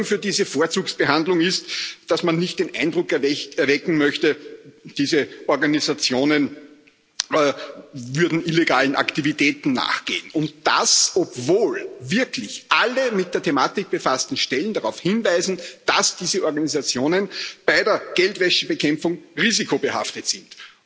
Begründung für diese Vorzugsbehandlung ist, dass man nicht den Eindruck erwecken möchte, diese Organisationen würden illegalen Aktivitäten nachgehen und das, obwohl wirklich alle mit der Thematik befassten Stellen darauf hinweisen, dass diese Organisationen bei der Geldwäschebekämpfung risikobehaftet sind,